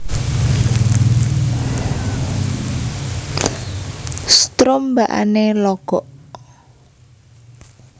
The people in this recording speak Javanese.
Strombakane logok